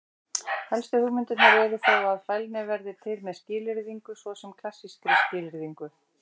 Helstu hugmyndirnar eru þó að: Fælni verði til með skilyrðingu, svo sem klassískri skilyrðingu.